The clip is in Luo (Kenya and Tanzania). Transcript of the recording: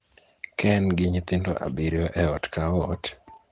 ka en gi nyithindo abiriyo e ot ka ot,